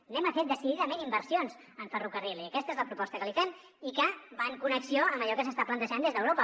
fem decididament inversions en ferrocarril i aquesta és la proposta que li fem i que va en connexió amb allò que s’està plantejant des d’europa